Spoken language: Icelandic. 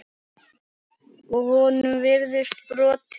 Á honum virtist brotið.